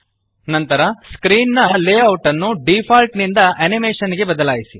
ನಂತರ ಸ್ಕ್ರೀನ್ ದ ಲೇಔಟ್ ಅನ್ನು ಡಿಫಾಲ್ಟ್ ನಿಂದ ಅನಿಮೇಶನ್ ಗೆ ಬದಲಾಯಿಸಿರಿ